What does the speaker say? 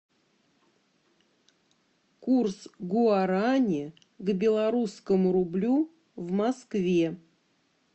курс гуарани к белорусскому рублю в москве